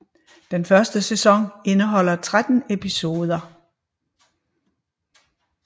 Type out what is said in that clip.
Den første sæson indeholder tretten episoder